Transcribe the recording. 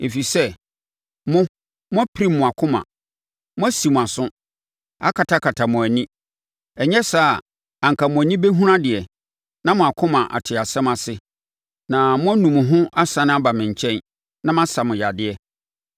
Ɛfiri sɛ mo, moapirim mo akoma; moasi mo aso, akatakata mo ani. Ɛnyɛ saa a, anka mo ani bɛhunu adeɛ, na mo akoma ate asɛm ase, na moanu mo ho asane aba me nkyɛn, na masa mo yadeɛ.”